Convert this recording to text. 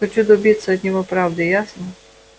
хочу добиться от него правды ясно